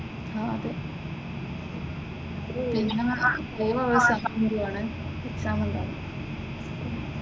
അഹ് അതെ. പിന്നെ കൂടെയുള്ള എക്സാം എഴുതാനുള്ള.